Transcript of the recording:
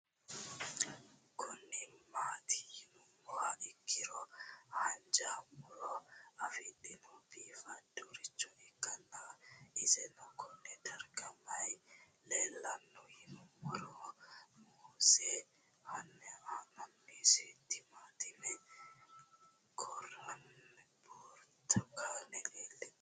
Kuni mati yinumoha ikiro hanja murowa afine'mona bifadoricho ikana isino Kone darga mayi leelanno yinumaro muuze hanannisu timantime gooranna buurtukaane leelitoneha ikanna